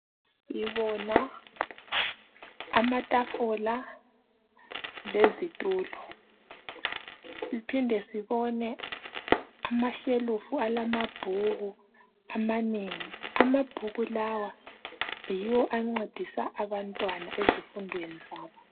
Sibona amatafula lezitulo siphinde sibone amashelufu alamabhuku amanengi amabhuku lawa yiwo ancedisa abantwana ezifundweni zabo.